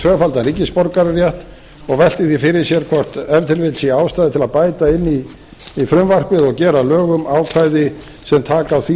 tvöfaldan ríkisborgararétt og velti því fyrir sér hvort ef til vill sé ástæða til að bæta inn í frumvarpi og gera að lögum ákvæði sem taka á því